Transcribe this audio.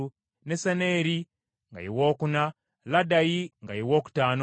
Nesaneeri nga ye wookuna, Laddayi nga ye wookutaano,